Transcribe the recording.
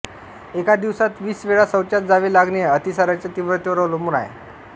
एका दिवसात वीस वेळा शौचास जावे लागणे अतिसाराच्या तीव्रतेवर अवलंबून आहे